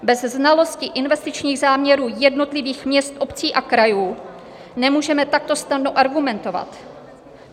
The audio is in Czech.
Bez znalosti investičních záměrů jednotlivých měst, obcí a krajů nemůžeme takto snadno argumentovat.